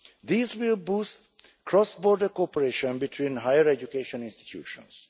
These will boost cross border cooperation between higher education institutions.